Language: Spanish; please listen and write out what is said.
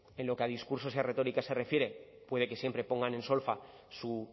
en lo que a discursos y a retóricas se refiere puede que siempre pongan en solfa su